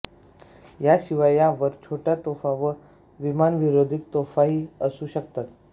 याशिवाय यांवर छोट्या तोफा व विमानविरोधी तोफाही असू शकतात